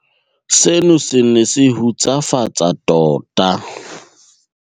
Seno se ne se hutsafatsa tota.